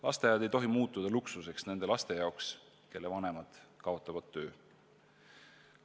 Lasteaed ei tohi nende laste jaoks, kelle vanemad kaotavad töö, luksuseks muutuda.